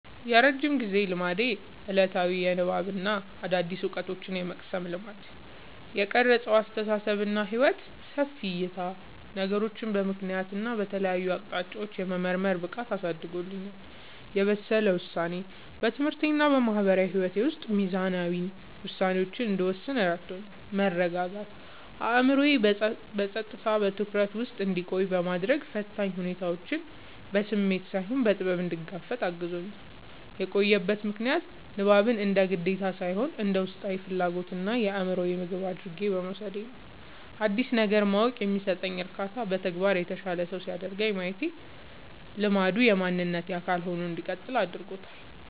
የረጅም ጊዜ ልማዴ፦ ዕለታዊ የንባብና አዳዲስ ዕውቀቶችን የመቅሰም ልማድ። የቀረጸው አስተሳሰብና ሕይወት፦ ሰፊ ዕይታ፦ ነገሮችን በምክንያትና በተለያዩ አቅጣጫዎች የመመርመር ብቃትን አሳድጎልኛል። የበሰለ ውሳኔ፦ በትምህርቴና በማህበራዊ ሕይወቴ ውስጥ ሚዛናዊ ውሳኔዎችን እንድወስን ረድቶኛል። መረጋጋት፦ አእምሮዬ በጸጥታና በትኩረት ውስጥ እንዲቆይ በማድረግ፣ ፈታኝ ሁኔታዎችን በስሜት ሳይሆን በጥበብ እንድጋፈጥ አግዞኛል። የቆየበት ምክንያት፦ ንባብን እንደ ግዴታ ሳይሆን እንደ ውስጣዊ ፍላጎትና የአእምሮ ምግብ አድርጌ በመውሰዴ ነው። አዲስ ነገር ማወቅ የሚሰጠው እርካታና በተግባር የተሻለ ሰው ሲያደርገኝ ማየቴ ልማዱ የማንነቴ አካል ሆኖ እንዲቀጥል አድርጎታል።